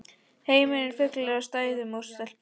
Heimurinn er fullur af sætum stelpum!